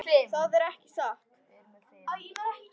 Það er ekki satt.